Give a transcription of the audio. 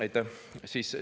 Aitäh!